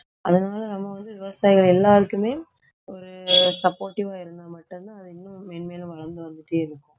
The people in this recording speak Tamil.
அதனால நம்ம வந்து விவசாயிகள் எல்லாருக்குமே ஒரு supportive ஆ இருந்தா மட்டும்தான் அது இன்னும் மேன்மேலும் வளர்ந்து வந்துட்டே இருக்கும்